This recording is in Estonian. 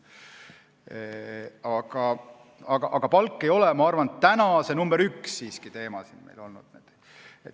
Aga palk ei ole, ma arvan, täna siiski see nr 1 teema.